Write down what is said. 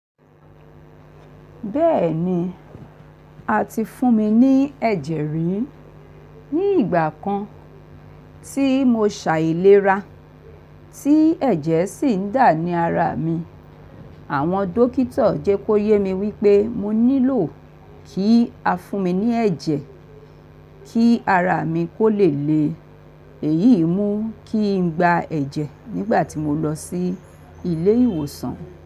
Bẹ́ẹ̀ni, a ti fún mi ní ẹ̀jẹ̀ rí ní ìgbà kan tí mo ṣàìlera tí ẹ̀jẹ̀ sì ń dà ní ara mi. Àwọn dókítà jẹ kó yé mi wípé mo nílò kí a fún mi ní ẹ̀jẹ̀ kí ara mi kó lè le èyí mú kí n gba ẹ̀jẹ̀ nígbà tí mo lọ sí ilé ìwòsàn.